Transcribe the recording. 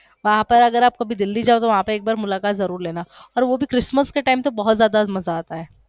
वहा पर आप अगर दिल्ली कभी जाते हो तो वहा एक बार मुलाकात जरूर लेना वो भी christmas के time पर बहोत जयदा मजा आता है